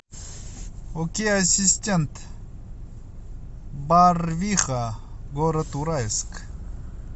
окей ассистент барвиха город уральск